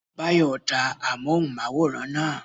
Báyọ̀ ta amóhùnmáwòrán náà